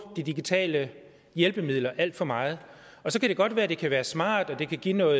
de digitale hjælpemidler alt for meget og så kan det godt være at det kan være smart og at det kan give noget